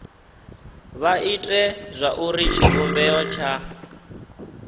vha ite zwauri tshivhumbeo tsha